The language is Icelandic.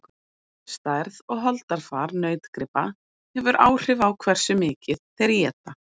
stærð og holdafar nautgripa hefur áhrif á hversu mikið þeir éta